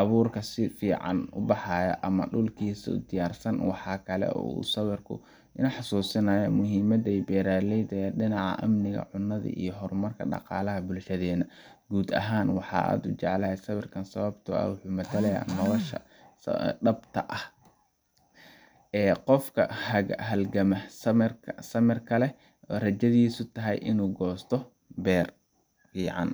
abuurta si fiican u baxaysa ama dhulkiisa oo diyaarsan. Waxaa kale oo uu sawirku i xasuusinayaa muhiimadda beeraleyda ee dhinaca amniga cunnada iyo horumarka dhaqaalaha bulshadeenna. Guud ahaan, waxaan aad u jeclahay sawirka sababtoo ah wuxuu matalayaa nolosha dhabta ah ee qofka halgama, samirka leh, oo rajadiisu tahay inuu goosto beer fican